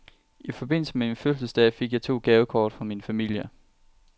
I forbindelse med min fødselsdag fik jeg to gavekort fra min familie.